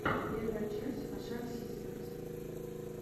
первая часть хашак систерс